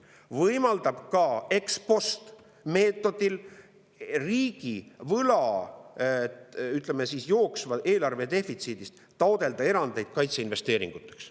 See võimaldab ka ex-post-meetodil riigivõla, või ütleme, jooksva eelarve defitsiidi korral taotleda erandeid kaitseinvesteeringuteks.